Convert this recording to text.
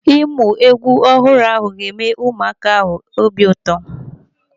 Ịmụ egwu ọhụrụ ga-eme ụmụaka ahụ obi ụtọ.